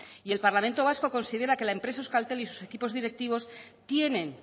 y el parlamento vasco considera que la empresa euskaltel y sus equipos directivos tienen